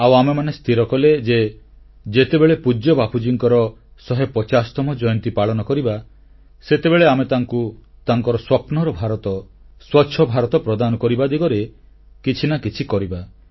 ଆଉ ଆମେମାନେ ସ୍ଥିର କଲେ ଯେ ଯେତେବେଳେ ପୂଜ୍ୟ ବାପୁଜୀଙ୍କର ଶହେ ପଚାଶତମ ଜୟନ୍ତୀ ପାଳନ କରିବା ସେତେବେଳେ ଆମେ ତାଙ୍କୁ ତାଙ୍କର ସ୍ୱପ୍ନର ଭାରତ ସ୍ୱଚ୍ଛ ଭାରତ ପ୍ରଦାନ କରିବା ଦିଗରେ କିଛି ନା କିଛି କରିବା